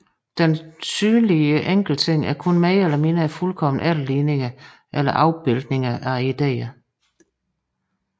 De synlige enkeltting er kun mere eller mindre fuldkomne efterligninger eller afbildninger af ideerne